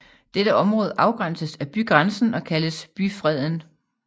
Dette område afgrænses af bygrænsen og kaldtes byfreden